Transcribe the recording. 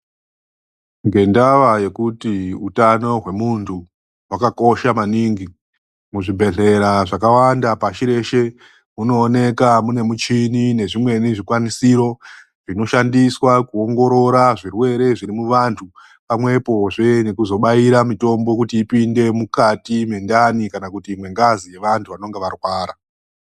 Ngendaa yekuti hutano hwevantu hwakakosha maningi muzvibhedhlera zvakawanda pashi reshe munoonekwa mune michini nezvimwe zvikwanisiro zvinoshandisa kuongorora zvirwere zviri muvantu pamwepozve nekuzobaira mitombo kuti ipinde mukati mwendani kana mwengazi revandu vanenge varwara .